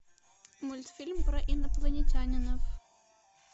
мультфильм про инопланетянинов